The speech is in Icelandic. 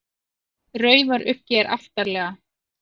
Raufaruggi er aftarlega.